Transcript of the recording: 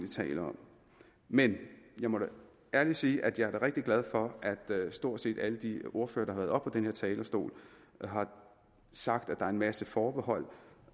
tale om men jeg må da ærligt sige at jeg er rigtig glad for at stort set alle de ordførere denne talerstol har sagt at der er en masse forbehold